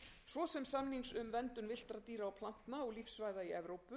svo sem samnings um verndun villtra dýra og plantna og lífsvæða í evrópu og